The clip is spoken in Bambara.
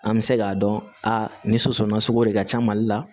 An bɛ se k'a dɔn a nin soso na sogo de ka ca mali la